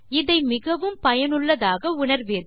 இதை மிகவும் பயனுள்ளதாக உணர்வீர்கள்